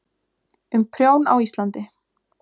Um prjón á Íslandi.